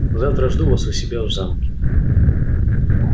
завтра жду вас у себя в замке